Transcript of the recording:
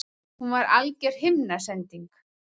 Hún var alger himnasending!